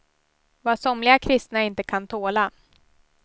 Vad somliga kristna inte kan tåla.